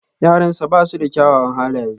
Yaransa ba su da kyawawan halaye.